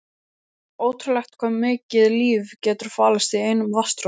Ótrúlegt hvað mikið líf getur falist í einum vatnsdropa.